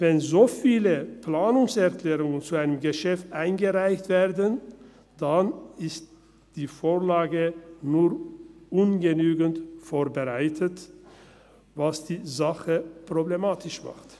Wenn so viele Planungserklärungen zu einem Geschäft eingereicht werden, dann ist die Vorlage nur ungenügend vorbereitet, was die Sache problematisch macht.